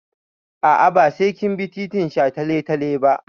A'a, ba sai kin bi titin shataletale ba.